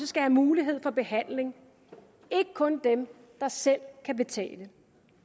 skal have mulighed for behandling ikke kun dem der selv kan betale